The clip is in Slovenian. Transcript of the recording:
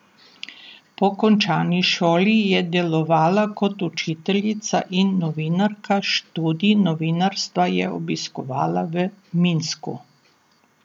Po končani šoli je delovala kot učiteljica in novinarka, študij novinarstva je obiskovala v Minsku.